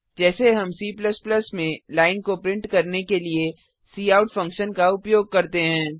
जैसे हम C में लाइन को प्रिंट करने के लिए काउट फंक्शन का उपयोग करते हैं